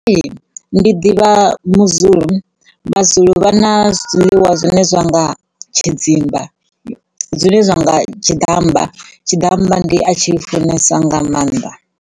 Ee, ndi ḓivha vhuzulu, maZulu vha na zwiḽiwa zwine zwa nga tshidzimba zwine zwa nga tshiḓammba, tshiḓammba ndi a tshi funesa nga mannḓa.